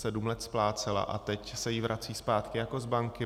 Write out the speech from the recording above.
sedm let splácela a teď se jí vrací zpátky jako z banky.